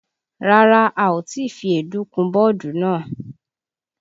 Rárá, a ò tí fi èédú kun bọ́ọ̀dù náà